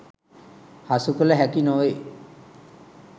හසු කළ හැකි නොවේ.